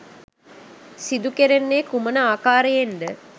සිදු කෙරෙන්නේ කුමන ආකාරයෙන්ද?